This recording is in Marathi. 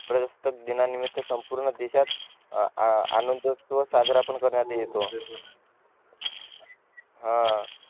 प्रजासत्ताक दीना निमित्त संपूर्ण देशात आनंद साजरा पण करण्यात येतो हा